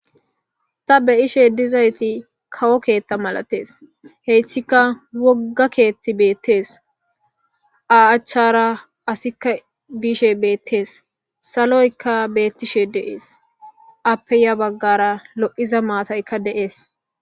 ta beyashe dizayay kawo keetha malatees hessika wogga keethti beettees iza aachara qasikka biishe beettees saloykka beettishe de7ees appe ya baggara lo7iza maataykka deees